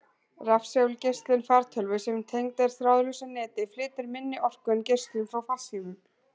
Rafsegulgeislun fartölvu sem tengd er þráðlausu neti, flytur minni orku en geislun frá farsímum.